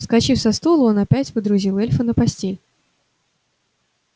вскочив со стула он опять водрузил эльфа на постель